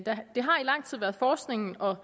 lang tid været forskningen og